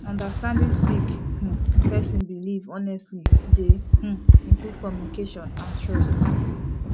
understanding sik um person bilif honestly dey um improve communication and trust